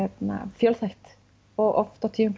fjölþætt og oft á tíðum